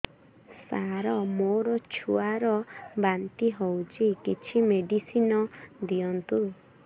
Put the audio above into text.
ସାର ମୋର ଛୁଆ ର ବାନ୍ତି ହଉଚି କିଛି ମେଡିସିନ ଦିଅନ୍ତୁ